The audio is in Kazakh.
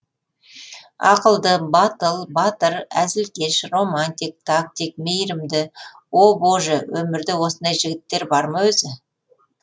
ақылды батыл батыр әзілкеш романтик тактик мейірімді о боже өмірде осындай жігіттер бар ма өзі